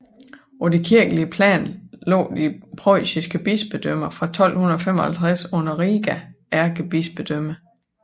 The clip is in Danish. På det kirkelige plan lå de preussiske bispedømmer fra 1255 under Riga ærkebispedømme